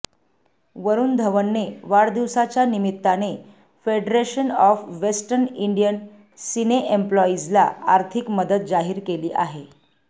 वरुण धवनने वाढदिवसाच्या निमित्ताने federation of western Indian cine एम्प्लॉईजला आर्थिक मदत जाहीर केली आहे